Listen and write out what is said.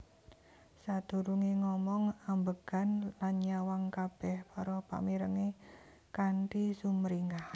Sadurungé ngomong ambegan lan nyawang kabéh para pamirengé kanthi sumringah